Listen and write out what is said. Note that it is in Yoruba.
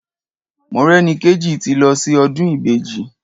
Morẹ́nikéjì ti lọ sí ọdún Ìbejì.